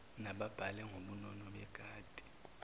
mababhale ngobunono bekati